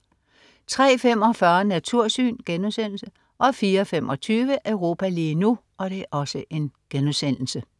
03.45 Natursyn* 04.25 Europa lige nu*